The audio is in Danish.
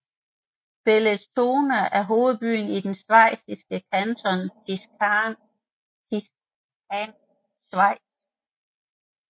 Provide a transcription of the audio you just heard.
Bellinzona er hovedbyen i den schweiziske kanton Ticino i Schweiz